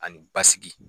Ani basigi